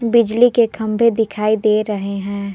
बिजली के खंभे दिखाई दे रहे हैं।